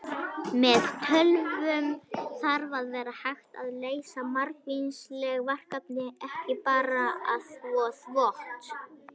Með tölvum þarf að vera hægt að leysa margvísleg verkefni, ekki bara að þvo þvott!